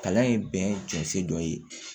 Kalan ye bɛn jɛnsɛ dɔ ye